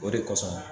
O de kosɔn